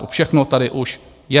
To všechno tady už je.